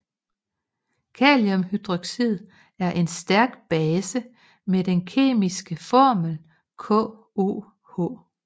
Kaliumhydroxid er en stærk base med den kemiske formel KOH